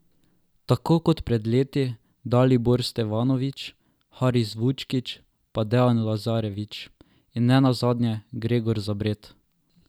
Tako kot pred leti Dalibor Stevanović, Haris Vučkić, pa Dejan Lazarević in nenazadnje Gregor Zabret.